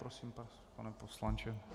Prosím, pane poslanče.